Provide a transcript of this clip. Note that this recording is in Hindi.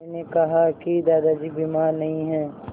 मैंने कहा कि दादाजी बीमार नहीं हैं